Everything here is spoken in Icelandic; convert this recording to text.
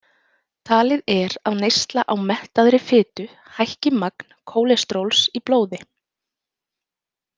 Talið er að neysla á mettaðri fitu hækki magn kólesteróls í blóði.